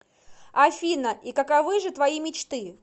афина и каковы же твои мечты